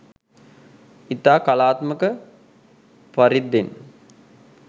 ඉතා කලාත්මක පරිද්දෙන්